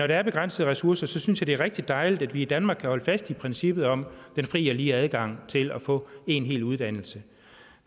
der er begrænsede ressourcer synes jeg det er rigtig dejligt at vi i danmark kan holde fast i princippet om den fri og lige adgang til at få en hel uddannelse